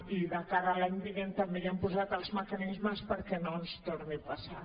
i de cara a l’any vinent també ja hem posat els mecanismes perquè no ens torni a passar